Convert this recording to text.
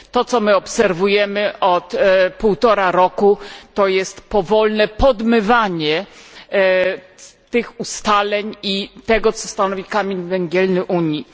To, co obserwujemy od półtora roku, to jest powolne podmywanie tych ustaleń i tego, co stanowi kamień węgielny Unii.